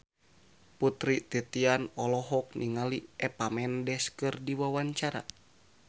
Putri Titian olohok ningali Eva Mendes keur diwawancara